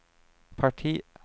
parti